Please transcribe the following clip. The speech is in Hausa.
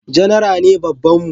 Janara ne babban mu